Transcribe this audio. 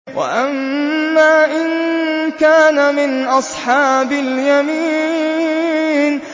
وَأَمَّا إِن كَانَ مِنْ أَصْحَابِ الْيَمِينِ